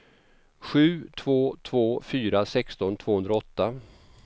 sju två två fyra sexton tvåhundraåtta